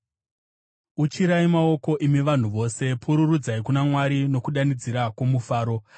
Uchirai maoko, imi vanhu vose; pururudzai kuna Mwari nokudanidzira kwomufaro.